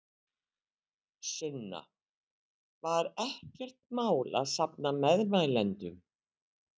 Sunna: Var ekkert mál að safna meðmælendum?